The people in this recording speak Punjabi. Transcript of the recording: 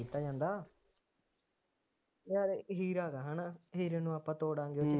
ਦਿੱਤਾ ਜਾਂਦਾ ਯਾਰ ਇਹੀ ਗੱਲ ਹੈ, ਹੈ ਨਾ, ਇਹ ਜਦੋਂ ਆਪਾਂ ਤੋੜਾਂਗੇ